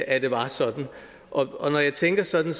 at det var sådan og når jeg tænker sådan